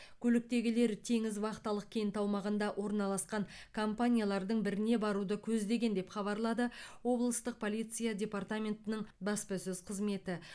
көліктегілер теңіз вахталық кенті аумағында орналасқан компаниялардың біріне баруды көздеген деп хабарлады облыстық полиция департаментінің баспасөз қызметі